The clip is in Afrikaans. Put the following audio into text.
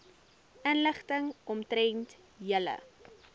inligting omtrent julle